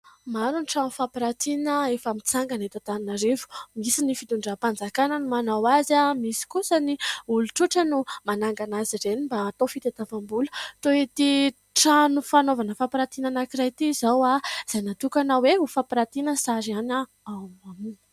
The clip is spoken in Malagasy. Maro ny trano fampirantiana efa mitsangana eto Antananarivo. Misy ny fitondram-panjakana no manao azy, misy kosa ny olon-tsotra no manangana azy ireny mba hatao fitadiavam-bola toy ity trano fanaovana fampirantiana anankiray ity izao dia natokana hoe ho fampirantiana sary ihany ao aminy.